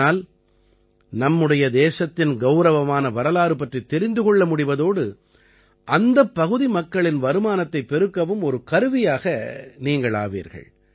இதனால் நம்முடைய தேசத்தின் கௌரவமான வரலாறு பற்றித் தெரிந்து கொள்ள முடிவதோடு அந்தப் பகுதி மக்களின் வருமானத்தைப் பெருக்கவும் ஒரு கருவியாக நீங்கள் ஆவீர்கள்